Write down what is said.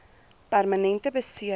permanente besering s